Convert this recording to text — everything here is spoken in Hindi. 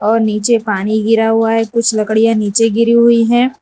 और नीचे पानी गिरा हुआ है कुछ लकड़ियां नीचे गिरी हुई हैं।